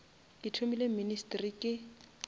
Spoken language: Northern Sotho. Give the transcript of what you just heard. ke thomile ministry ke